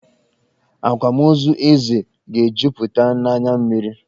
Akwamozu Eze ga-ejuputa n'anya mmiri.